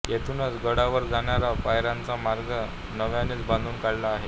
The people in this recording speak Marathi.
येथूनच गडावर जाणाऱ्या पायऱ्यांचा मार्ग नव्यानेच बांधून काढला आहे